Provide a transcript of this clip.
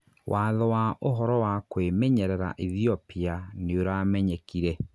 watho wa ũhoro wa kwĩmenyerera Ethiopia nĩũramenyekire